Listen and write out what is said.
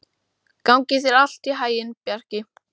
Gangi þér allt í haginn, Bjarki.